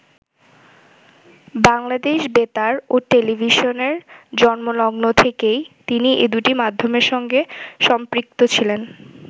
বাংলাদেশ বেতার ও টেলিভিশনের জন্মলগ্ন থেকেই তিনি এ দুটো মাধ্যমের সঙ্গে সম্পৃক্ত ছিলেন।